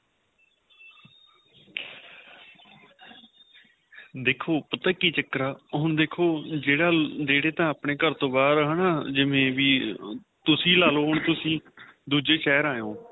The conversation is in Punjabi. ਦੇਖੋ ਪਤਾ ਕਿ ਚੱਕਰ ਆਂ ਹੁਣ ਦੇਖੋ ਜਿਹੜਾ ਨੇੜੇ ਤਾਂ ਆਪਣੇਂ ਘਰ ਤੋ ਬਹਾਰ ਆਂ ਹੈਨਾ ਜਿਵੇਂ ਵੀ ਤੁਸੀਂ ਲਾਲੋ ਤੁਸੀਂ ਦੂਜੇ ਸ਼ਹਿਰ ਆਏ ਹੋ